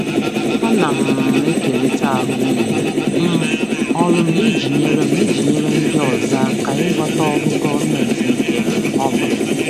Ana um m ekerịta ahụmịhe um ọrụ m iji nyere m iji nyere ndị ọzọ aka ịghọta ọrụ gọọmentị nke um ọma.